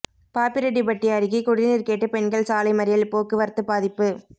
பாப்பிரெட்டிப்பட்டி அருகே குடிநீர் கேட்டு பெண்கள் சாலை மறியல் போக்குவரத்து பாதிப்பு